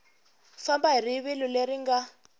famba hi rivilo leri nga